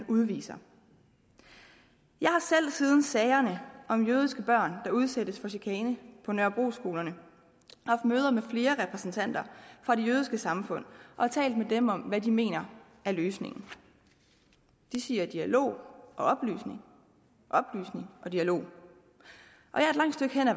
udviser jeg har selv siden sagerne om jødiske børn der udsættes for chikane på nørrebroskolerne haft møder med flere repræsentanter for det jødiske samfund og talt med dem om hvad de mener er løsningen de siger dialog og oplysning oplysning og dialog